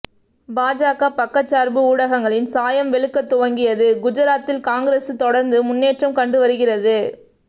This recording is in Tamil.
பாஜக பக்கச்சார்பு ஊடகங்களின் சாயம் வெளுக்கத் துவங்கியது குஜராத்தில் காங்கிரசு தொடர்ந்து முன்னேற்றம் கண்டுவருகிறது